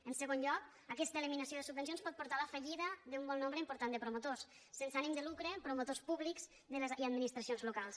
en segon lloc aquesta eliminació de subvencions pot portar a la fallida d’un bon nombre important de promotors sense ànim de lucre promotors públics i administracions locals